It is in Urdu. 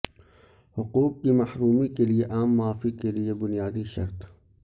حقوق کی محرومی کے لیے عام معافی کے لئے بنیادی شرط